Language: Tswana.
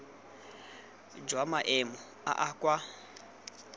jwa maemo a a kwa